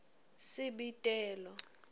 sibitelo